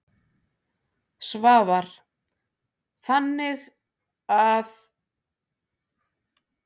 Svavar: Þannig að.